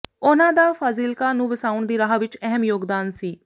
ਉਨ੍ਹਾਂ ਦਾ ਫਾਜ਼ਿਲਕਾ ਨੂੰ ਵਸਾਉਣ ਦੀ ਰਾਹ ਵਿਚ ਅਹਿਮ ਯੋਗਦਾਨ ਸੀ